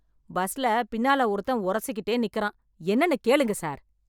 பஸ்ல பின்னால ஒருத்தன் உரசிகிட்டே நிக்கறான், என்னன்னு கேளுங்க சார்.